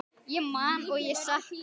Ég man og ég sakna.